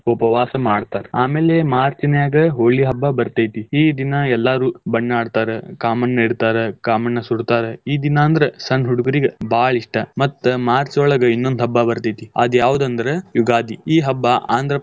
ಉಪವಾಸ ಮಾಡ್ತಾರ್ ಆಮೇಲೆ March ನ್ಯಾಗ್ ಹೋಳಿ ಹಬ್ಬಾ ಬರ್ತೇತಿ ಈ ದಿನ ಎಲ್ಲಾರು ಬಣ್ಣ ಆಡ್ತಾರ. ಕಾಮಣ್ಣ ಇಡ್ತಾರ ಕಾಮಣ್ಣ ಸುಡ್ತಾರ. ಈ ದಿನಾ ಅಂದ್ರ್ ಸಣ್ಣ್ ಹುಡುಗುರಿಗ್ ಬಾಳ ಇಷ್ಟ ಮತ್ತ್ ಮಾರ್ಚ್ ಒಳಗ್ ಇನ್ನೊಂದ್ ಹಬ್ಬಾ ಬರ್ತೇತಿ ಆದ್ ಯಾವ್ದ್ ಅಂದ್ರ್ ಯುಗಾದಿ, ಈ ಹಬ್ಬಾ.